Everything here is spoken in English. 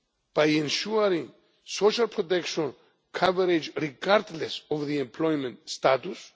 by ensuring social protection coverage regardless of the employment status